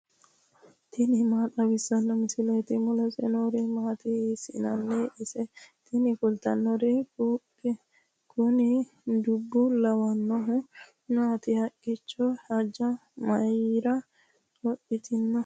tini maa xawissanno misileeti ? mulese noori maati ? hiissinannite ise ? tini kultannori kuni dubo lawannohu maati haqqicho hojja mayra lophitino